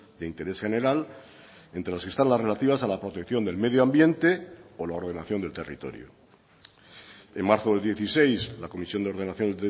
de interés general entre las que están las relativas a la protección del medio ambiente o la ordenación del territorio en marzo del dieciséis la comisión de ordenación